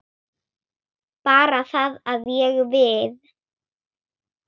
Bara það að ég. við.